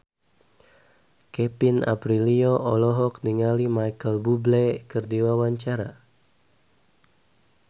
Kevin Aprilio olohok ningali Micheal Bubble keur diwawancara